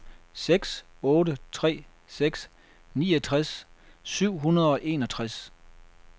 seks otte tre seks niogtres syv hundrede og enogtres